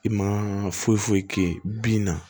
I ma foyi foyi kɛ bin na